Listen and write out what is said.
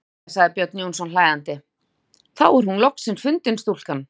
Jæja, sagði Björn Jónsson hlæjandi:-Þá er hún loks fundin stúlkan þín.